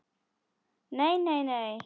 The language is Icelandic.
Nei, nei nei.